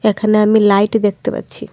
এখানে আমি লাইট দেখতে পাচ্ছি।